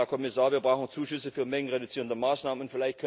Herr Kommissar, wir brauchen Zuschüsse für mengenreduzierende Maßnahmen.